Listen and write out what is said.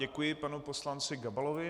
Děkuji panu poslanci Gabalovi.